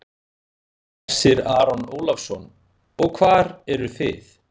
Hersir Aron Ólafsson: Og hvað eruð þið?